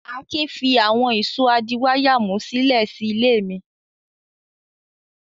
Akin fi àwọn ìṣó adíwáyàmú sílẹ̀ sí ilé mi.